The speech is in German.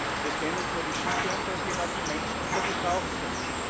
Und es gehen nicht nur die Schiffe unter, es gehen auch die Menschen unter, die drauf sind.